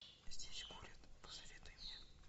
здесь курят посоветуй мне